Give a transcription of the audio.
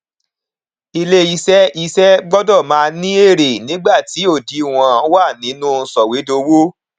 ilé iṣẹ iṣẹ gbọdọ máa ní èrè nígbà tí òdìwọn wà nínú sọwédowó